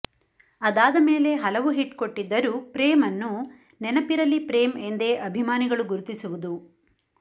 ಅದಾದ ಮೇಲೆ ಹಲವು ಹಿಟ್ ಕೊಟ್ಟಿದ್ದರೂ ಪ್ರೇಮ್ರನ್ನು ನೆನಪಿರಲಿ ಪ್ರೇಮ್ ಎಂದೇ ಅಭಿಮಾನಿಗಳು ಗುರುತಿಸುವುದು